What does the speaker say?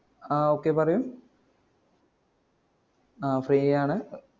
ആ okay പറയു ആഹ് free യാണ്